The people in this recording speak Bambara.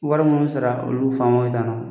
Wari minnu sara olu bɛ faamu na